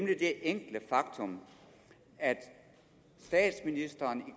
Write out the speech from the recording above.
det enkle faktum at statsministeren